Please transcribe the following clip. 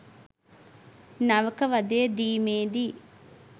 නවක වදය දීමේදී